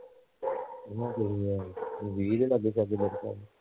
ਉਹਨਾਂ ਕਿਹਾਂ ਸੀ ਵੀਹ ਦੇ ਲਾਗੇ ਸ਼ਾਂਗੇ ਲਗਪਗ